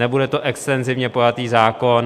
Nebude to extenzivně pojatý zákon.